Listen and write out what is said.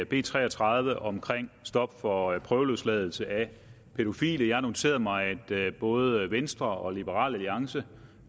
b tre og tredive om stop for prøveløsladelse af pædofile jeg har noteret mig at både venstre og liberal alliance